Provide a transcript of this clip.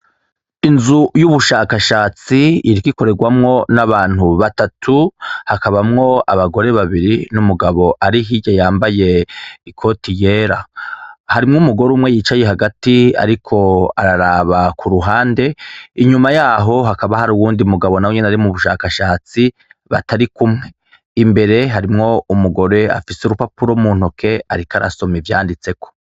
Inzu y'ubushakashatsi iriko ikorerwamwo n'abantu batatu hakabamwo abagore babiri n'umugabo ari hirya yambaye ikoti yera, harimwo umugore umwe yicaye hagati ariko araraba ku ruhande, inyuma yaho hakaba hari uwundi mugabo nawe nyene ari mu bushakashatsi batari kumwe, imbere harimwo umugore afise urupapuro mu ntoke ariko arasome ivyanditseko.